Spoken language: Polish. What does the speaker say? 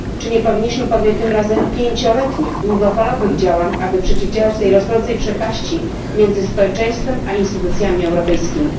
Czy nie powinniśmy podjąć tym razem pięcioletnich, długofalowych działań, aby przeciwdziałać tej rosnącej przepaści między społeczeństwem a instytucjami europejskimi?